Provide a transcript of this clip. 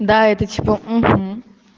да это типа